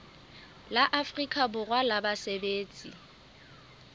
la afrika borwa la basebetsi